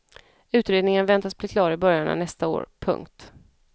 Utredningen väntas bli klar i början av nästa år. punkt